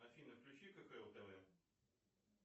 афина включи кхл тв